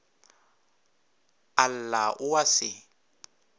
a lla o a se